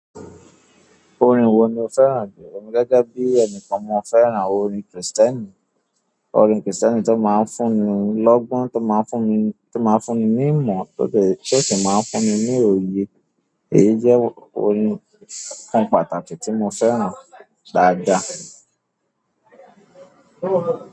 Orin wo ni o fẹ́ràn jù? Ọ̀ mi gẹ́gẹ́ bí ẹnìkan, mo fẹ́ràn orin Kristẹni. Orin Kristẹni tó máa ń fún ni lọ́gbọ́n, tó máa ń fún ni ní ìmọ̀, tótọ́ èṣó tó máa ń fún ni ní òye. Èyí jẹ́ orin kan pàtàkì tí mo fẹ́ràn dáadáa.